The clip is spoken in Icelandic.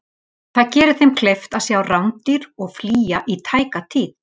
Það gerir þeim kleift að sjá rándýr og flýja í tæka tíð.